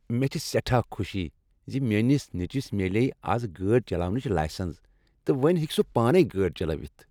مےٚ چھےٚ سیٹھاہ خوشی ز میٛٲنس نیٚچوس میلییہِ از گٲڑۍ چلاونٕچ لایسنٛس تہٕ وۄنۍ ہیٚکہ سہ پانے گٲڑۍ چلٲوتھ۔